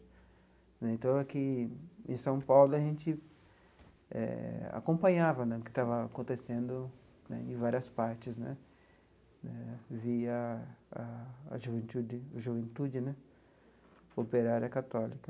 Né então, aqui em São Paulo, a gente eh acompanhava né o que estava acontecendo né em várias partes né, via a a juventude juventude né operária católica.